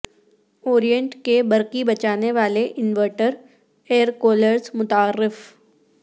Orient کے برقی بچانے والے انورٹر ایر کولرس متعارف